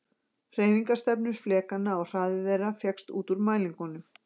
Hreyfingarstefnur flekanna og hraði þeirra fékkst út úr mælingunum.